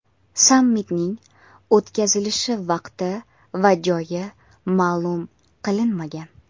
Sammitning o‘tkazilishi vaqti va joyi ma’lum qilinmagan.